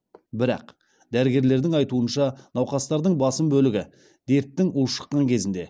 бірақ дәрігерлердің айтуынша науқастардың басым бөлігі дерттің ушыққан кезінде